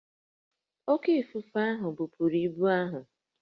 Oké ifufe ahụ bupuru ibu ahụ